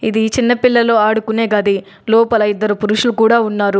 దీ చిన్న పిల్లలు ఆడుకునే గది లోపల ఇద్దరు పురుషులు కూడా ఉన్నారు.